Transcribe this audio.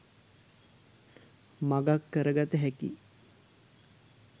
මගක් කර ගත හැකියි